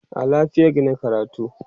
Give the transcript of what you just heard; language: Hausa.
a lafiagi nake karatu